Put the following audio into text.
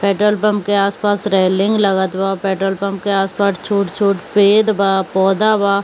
Petrol pump के आस-पास railing लगत बा पेट्रोल पम्प के आस-पास छोट-छोट पेद बा पौधा बा ।